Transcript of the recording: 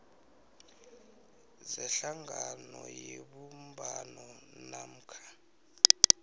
zehlangano yebumbano namkha